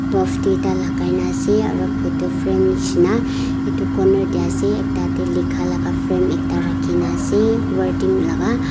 bulf tuita lakaina ase aro photo frame neshina eto corner teh ase ekta teh lika laga frame ekta rakhina ase wording laga.